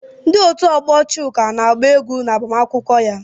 Ndị otu ọgbọ Chuka na-agba egwú n'agbamakwụkwọ ya.